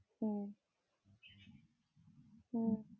ഏർ ഹാ